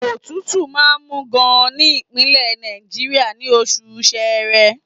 Òtútù máa ń mú gan-an ní Ìpínlẹ̀ Náìjà, ní oṣù Ṣẹẹrẹ.